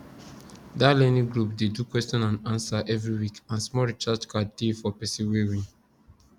that learning group dey do question and answer every week and small recharge card dey for person wey win